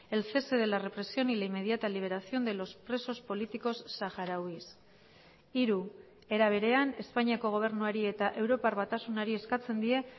el cese de la represión y la inmediata liberación de los presos políticos saharauis hiru era berean espainiako gobernuari eta europar batasunari eskatzen die